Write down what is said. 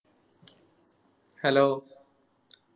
Hello